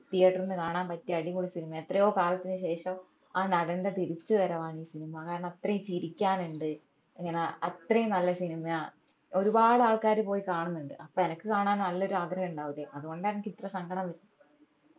theatre ഇൽ നിന്ന് കാണാൻ പറ്റിയ അടിപൊളി സിനിമയാ എത്രയോ കാലത്തിന് ശേഷം ആ നടന്റെ തിരിച്ചവരവാന്ന് സിനിമ കാരണം അത്രയും ചിരിക്കാനുണ്ട് ഇങ്ങന അത്രയും നല്ല സിനിമയാ ഒരുപാട് ആൾക്കാർ പോയി കാണുന്നുണ്ട് അപ്പൊ എനക്ക് കാണാൻ നല്ലൊരു ആഗ്രഹം ഉണ്ടാവൂല്ലേ അതുകൊണ്ടാ അനക്ക് ഇത്ര സങ്കടം വരുന്നേ